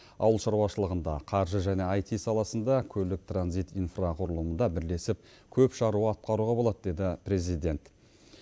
ауыл шаруашылығында қаржы және аити саласында көлік транзит инфрақұрылымында бірлесіп көп шаруа атқаруға болады деді президент